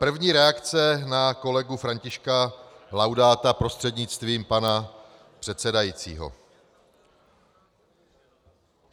První - reakce na kolegu Františka Laudáta prostřednictvím pana předsedajícího.